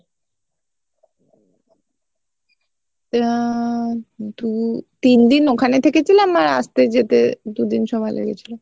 আহ দু তিনদিন ওখানে থেকেছিলাম আর আসতে যেতে দু দিন সময় লেগেছিলো